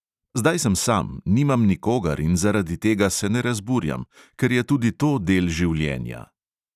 Zdaj sem sam, nimam nikogar in zaradi tega se ne razburjam, ker je tudi to del življenja.